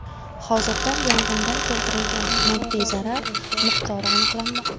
Hozirda yong‘indan keltirilgan moddiy zarar miqdori aniqlanmoqda.